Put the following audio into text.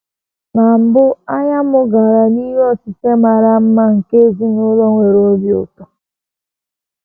Na mbụ, anya m gara n’ihe osise mara mma nke ezinụlọ nwere obi ụtọ.